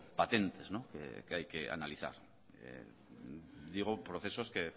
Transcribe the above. patentes que hay que analizar digo procesos que